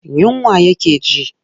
Yunwa yake ji.